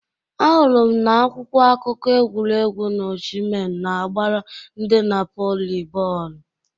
Ahụrụ m n'akwụkwọ akụkọ egwuregwu na Oshimen na-agbara ndi Napoli bọọlụ